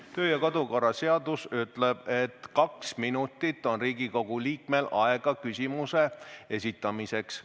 Riigikogu kodu- ja töökorra seadus ütleb, et kaks minutit on Riigikogu liikmel aega küsimuse esitamiseks.